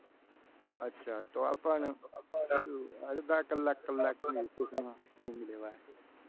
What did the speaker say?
અચ્છા તો પણ શું? અડધા કલાક કલાક ની recess માં શું ઊંઘ લેવાય?